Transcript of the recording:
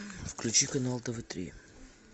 включи канал тв три